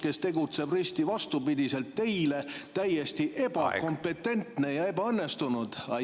… kes tegutseb risti vastupidiselt teile, täiesti ebakompetentne ja ebaõnnestunud?